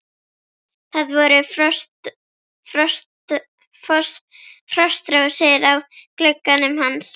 Það voru frostrósir á glugganum hans.